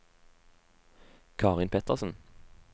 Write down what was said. Karin Pettersen